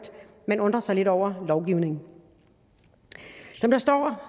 man undrer sig lidt over lovgivningen som der står